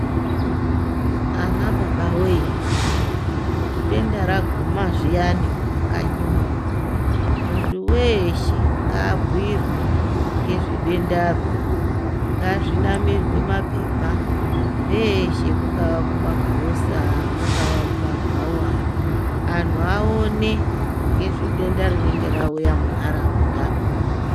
Ana baba wee, kuti denda raguma zviyani mumakanyimwo, munthu weeshe, ngaabhuirwe ngezve dendaro, ngazvinamirwe maphepha, peeshe, mungaa mumagirosa, mungaa mumabhawa, anthu aone ngezve denda rinenge rauya muntharaunda.